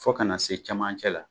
Fo kana na se camancɛ la